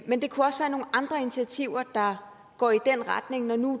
men det kunne også være nogle andre initiativer der går i den retning når nu